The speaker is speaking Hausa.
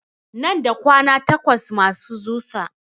Nan da kwana takwas masu zusa